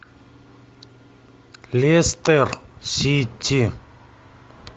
лестер сити